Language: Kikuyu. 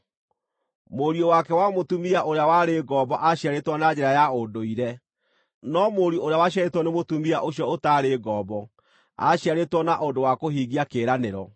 Mũriũ wake wa mũtumia ũrĩa warĩ ngombo aaciarĩtwo na njĩra ya ũndũire; no mũriũ ũrĩa waciarĩtwo nĩ mũtumia ũcio ũtaarĩ ngombo aaciarĩtwo na ũndũ wa kũhingia kĩĩranĩro.